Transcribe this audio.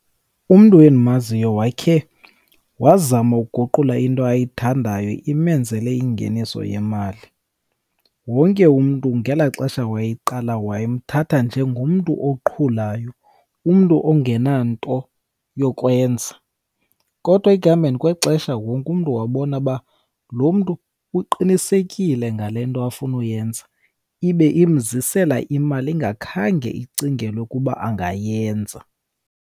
Umntu endimaziyo wakhe wazama uguqula into ayithandayo imenzele ingeniso yemali. Wonke umntu ngelaa xesha wayeqala, wayemthatha njengomntu oqhulayo, umntu ongenanto yokwenza, kodwa ekuhambeni kwexesha, wonke umntu wabona uba lo mntu uqinisekile ngale nto afunuyenza. Ibe imzisela imali, ingakhange icingelwe kuba angayenza.